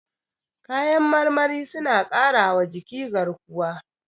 Kayan marmari suna ƙarawa jiki garkuwa.